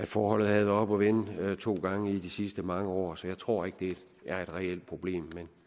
forholdet været oppe at vende to gange i de sidste mange år så jeg tror ikke det er et reelt problem men